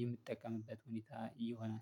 የምጠቀምበት ሁኔታ እየሆነ